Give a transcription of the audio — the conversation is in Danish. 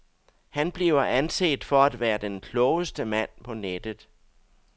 Han bliver anset for at være den klogeste mand på nettet.